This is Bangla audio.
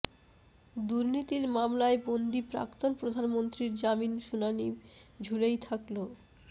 দুর্নীতির মামলায় বন্দি প্রাক্তন প্রধানমন্ত্রীর জামিন শুনানি ঝুলেই থাকল